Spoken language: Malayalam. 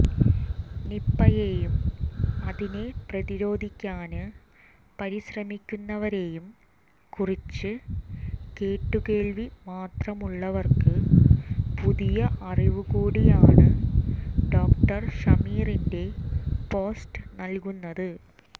നിപ്പായേയും അതിനെ പ്രതിരോധിക്കാന് പരിശ്രമിക്കുന്നവരെയും കുറിച്ച് കേട്ടുകേള്വി മാത്രമുള്ളവര്ക്ക് പുതിയ അറിവുകൂടിയാണ് ഡോക്ടര് ഷമീറിന്റെ പോസ്റ്റ് നല്കുന്നത്